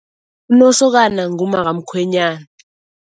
Unosokana ngumaka